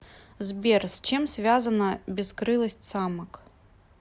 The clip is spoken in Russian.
сбер с чем связана бескрылость самок